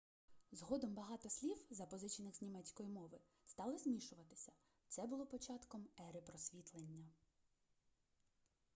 згодом багато слів запозичених з німецької мови стали змішуватися це було початком ери просвітлення